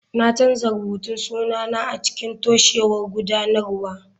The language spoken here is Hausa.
Na canza rubutun sunana a cikin toshewar gudanarwa.